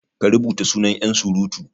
ka rubuta sunan yansurutu?